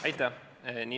Aitäh!